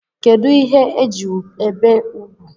Kedu ihe eji ebe úgwù?